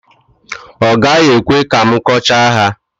ọ gaghị ekwe ka m kọchaa ha